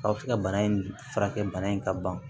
Aw bɛ se ka bana in furakɛ bana in ka ban